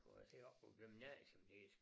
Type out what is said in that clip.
Prøv at se oppe på æ gymnasium det